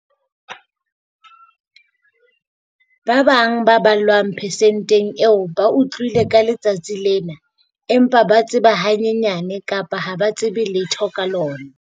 Ba bang ba ballwang persenteng eo ba utlwile ka letsatsi lena empa ba tseba hanyenyane kapa ha ba tsebe letho ka lona.